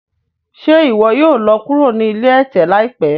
Ṣe iwọ yoo lọ kuro ni ilé ẹtẹ laipẹ?